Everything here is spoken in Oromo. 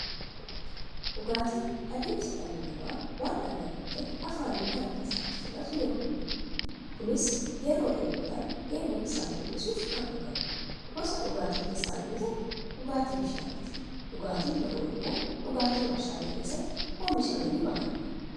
Dhugaatiin adeemsa dhalli namaa waan dhangala'oo ta'e afaanin gara keessaatti fudhatu yookiin dhuguudha. Kunis yeroo dheebotan dheebuu isaanii hir'isuuf kan dhugaanii. Gosa dhugaatii keessaa inni tokko dhugaatii bishaaniti. Dhugaatiin biroo immoo dhugaatii waarshalee keessatti oomishamanii bahaniidha.